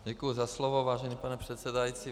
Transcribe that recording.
Děkuji za slovo, vážený pane předsedající.